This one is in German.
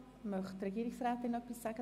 Somit hat Regierungsrätin Simon das Wort.